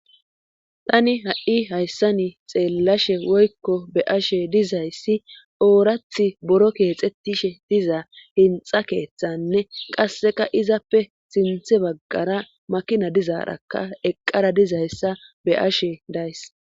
Tani ha'i hayssa ni xeellashe woykko be ashe dizayssi oorath boro keexetishe diza hinxa keeththanne qasseka izappe sinthe baggara makina dizaarakka eqqara dizayssa be ashe days.